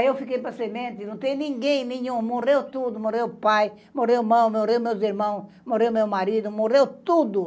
Aí eu fiquei para semente, não tem ninguém, nenhum, morreu tudo, morreu o pai, morreu o, morreu meus irmãos, morreu meu marido, morreu tudo.